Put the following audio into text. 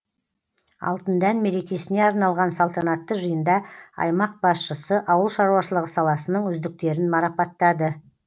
алтын дән мерекесіне арналған салтанатты жиында аймақ басшысы ауыл шаруашылығы саласының үздіктерін марапаттады